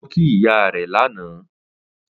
Ó lọ kí ìyá rẹ̀ lánàá